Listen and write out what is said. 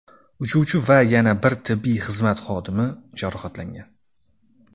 Uchuvchi va yana bir tibbiy xizmat xodimi jarohatlangan.